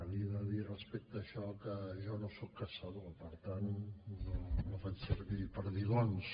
li he de dir respecte a això que jo no soc caçador per tant no faig servir perdigons